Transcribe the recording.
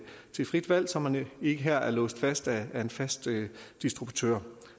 frit valg så man ikke her er låst fast af en fast distributør